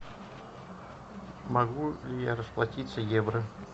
могу ли я расплатиться евро